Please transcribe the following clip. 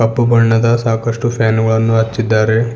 ಕಪ್ಪು ಬಣ್ಣದ ಸಾಕಷ್ಟು ಫ್ಯಾನ್ ಗಳನ್ನು ಹಚ್ಚಿದ್ದಾರೆ.